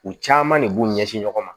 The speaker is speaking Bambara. U caman de b'u ɲɛsin ɲɔgɔn ma